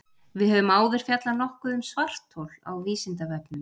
Við höfum áður fjallað nokkuð um svarthol á Vísindavefnum.